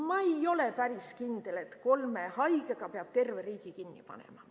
Ma ei ole päris kindel, et kolme haige pärast peab terve riigi kinni panema.